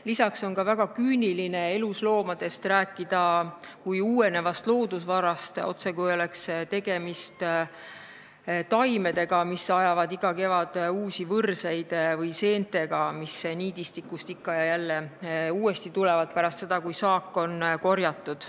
Lisaks on väga küüniline rääkida elusloomadest kui uuenevast loodusvarast, otsekui oleks tegemist taimedega, mis ajavad iga kevad uusi võrseid, või seentega, mis niidistikust ikka ja jälle uuesti tekivad, kui saak on korjatud.